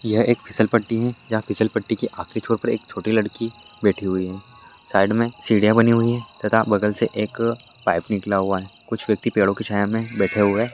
ये एक फिसलपट्टी है यहा खिसलपट्टी के सामने एक छोटी बैठी हुई है साइड मे सिडिया बनाई हुई है एक बगल से एक पाइप निकला हुआ है कुछ व्यक्ति पेड़ो के छाए बैठे हुए है।